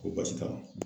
Ko baasi t'a la